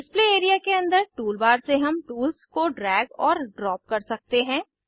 display area के अंदर toolbar से हम टूल्स को ड्रैग और ड्राप कर सकते हैं